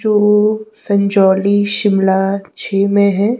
जो संजौली शिमला झी में है।